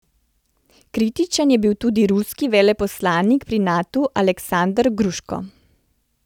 Kritičen je bil tudi ruski veleposlanik pri Natu, Aleksander Gruško.